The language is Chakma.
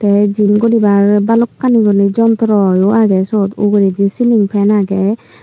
te gym guribar balokkani urinay jontro yo age suot uguredi ceiling fan age.